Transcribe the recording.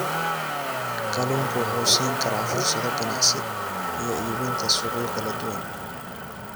Kalluunku wuxuu siin karaa fursado ganacsi iyo iibinta suuqyo kala duwan.